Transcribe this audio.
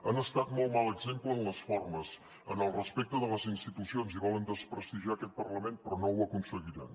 han estat molt mal exemple en les formes en el respecte de les institucions i volen desprestigiar aquest parlament però no ho aconseguiran